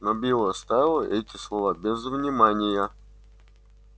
но билл оставил эти слова без внимания